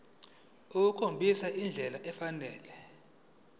ukukhombisa indlela efanele